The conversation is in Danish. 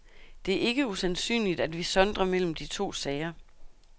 Det er ikke usandsynligt, at vi sondrer mellem de to sager.